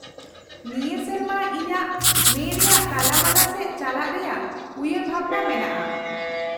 -ᱱᱤᱭᱟᱹ ᱥᱮᱨᱢᱟ ᱤᱧᱟᱹᱜ ᱢᱮ ᱨᱮᱭᱟᱜ ᱛᱟᱞᱟᱢᱟ ᱥᱮᱫ ᱪᱟᱞᱟᱜ ᱨᱮᱭᱟᱜ ᱩᱭᱦᱟᱹᱨᱵᱷᱟᱵᱱᱟ ᱢᱮᱱᱟᱜᱼᱟ ᱾